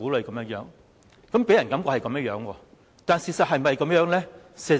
政府的確令人有這種感覺，但事實是否這樣呢？